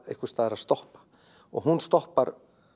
einhvers staðar að stoppa og hún stoppar